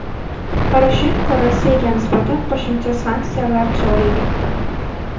Poroshenko Rossiyaga nisbatan qo‘shimcha sanksiyalar joriy etdi.